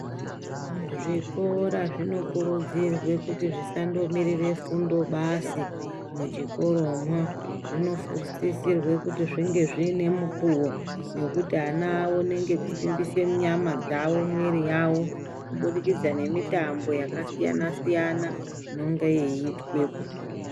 Zvikora zvinokurudzirwe kuti zvisandomirire fundo basi muchikoromwo, zvinokurudzirwe kut zvinge zviine mukuvo wekuti ana waoneke weisimbisa nyama dzavo uye nemiri yavo kubudikidza nemitambo yakasiayanq siyana inenge yeiitwepo.